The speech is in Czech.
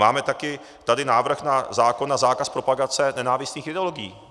Máme tady také návrh na zákon na zákaz propagace nenávistných ideologií.